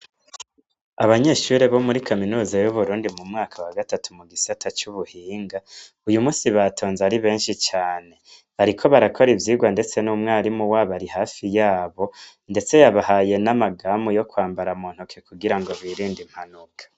Abanyeshure bo muri kaminuza y'Uburundi mu gisata c'ubuhinga, uyumunsi batonze ari benshi cane bariko barakora ivyigwa ndetse n'umwarimu wabo ari hafi yabo ndetse yabahaye namagamu yokwambara muntoke kugira ngo birinde impanuka.